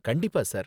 கண்டிப்பா, சார்